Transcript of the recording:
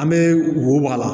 An bɛ wo bɔ a la